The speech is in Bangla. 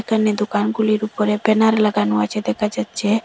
সামনে দুকানগুলির উপরে ব্যানার লাগানো আছে দেখা যাচ্চে।